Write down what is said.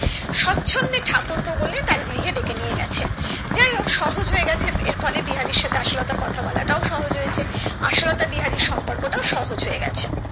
ঠাকুরপো বলে তার গৃহে ডেকে নিয়ে গেছে যাই হোক সহজ হয়েগেছে এর ফলে বিহারীর সাথে আশালতার কথা বলাটা ও সহজ হয়েছে আশালতা বিহারীর সম্পর্ক টা ও সহজ হয়ে গেছে